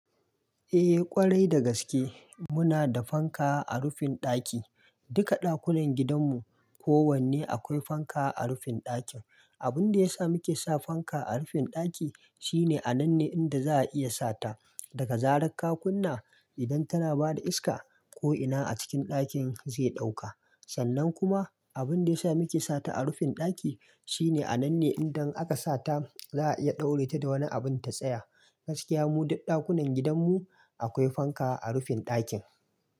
Eh ƙwarai da gaske muna da fanka a rufin ɗaki. Duka ɗakunan gidanmu kowanne akwai fanka a rufin ɗakin. Abun da ya sa muke sa fanka a rufin ɗaki shine a nan ne inda za a iya sata daga zarar kakunna idan tana bada iska ko'ina a cikin ɗakin zai ɗauka. Sannan kuma abun da ya sa muke sata a rufin ɗaki shine a nan ne idan aka sata za a iya ɗaure ta da wani abin ta tsaya. Gaskiya mu duk ɗakunan gidanmu akwai fanka a rufin ɗakin.